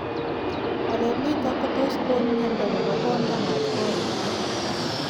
walet nitog kotus kogon miando nepo konda matkoro